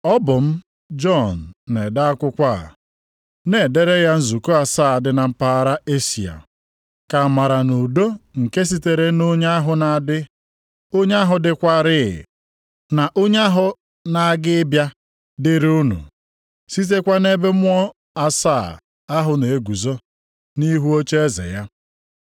Ọ bụ m Jọn na-ede akwụkwọ a, Na-edere ya nzukọ asaa dị na mpaghara Eshịa: Ka amara na udo nke sitere na Onye ahụ na-adị, Onye ahụ dịkwaarị, na Onye ahụ na-aga ịbịa dịrị unu, sitekwa nʼebe Mmụọ asaa + 1:4 Nʼakwụkwọ Nsọ, asaa dị ka ọnụọgụgụ na-egosipụta izuoke. ahụ na-eguzo nʼihu ocheeze ya,